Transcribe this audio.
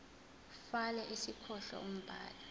fal isihloko umbhali